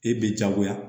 E bɛ jagoya